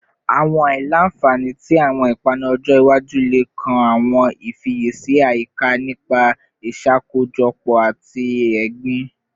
Awọn aila-nfani ti awọn ipanu ọjọ iwaju le kan awọn ifiyesi ayika nipa iṣakojọpọ ati egbin